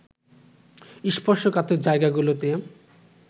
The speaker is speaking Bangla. স্পর্শকাতর জায়গাগুলোতে